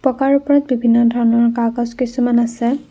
পকাৰ ওপৰত বিভিন্ন ধৰণৰ কাগজ কিছুমান আছে।